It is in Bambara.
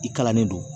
I kalannen don